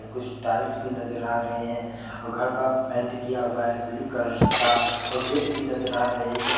कुछ टाइल्स भी नजर आ रहे हैं और घर का पेंट किया हुआ है ब्लू कलर का और गेट भी नजर आ रहे है